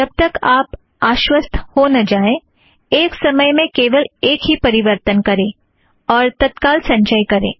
जब तक आप आश्वस्त हो न जाएं एक समय में केवल एक ही परिवर्तन करें और तत्काल संचय करें